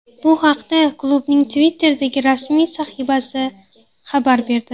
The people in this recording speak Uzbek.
Bu haqda klubning Twitter’dagi rasmiy sahifasi xabar berdi .